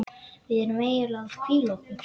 Við erum eiginlega að hvíla okkur.